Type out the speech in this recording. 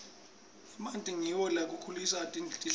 emanti ngiwo lakhulisa tihlahla